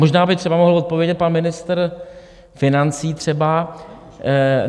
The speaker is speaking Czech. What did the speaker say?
Možná by třeba mohl odpovědět pan ministr financí, třeba?